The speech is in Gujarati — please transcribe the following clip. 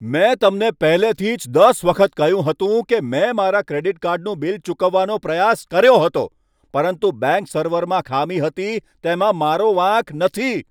મેં તમને પહેલેથી જ દસ વખત કહ્યું હતું કે મેં મારા ક્રેડિટ કાર્ડનું બિલ ચૂકવવાનો પ્રયાસ કર્યો હતો, પરંતુ બેંક સર્વરમાં ખામી હતી. તેમાં મારો વાંક નથી!